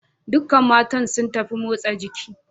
Duk matan sun tafi motsa jiki.